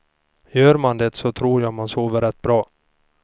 Gör man det så tror jag att man sover rätt bra.